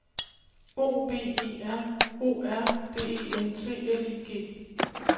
O V E R O R D E N T L I G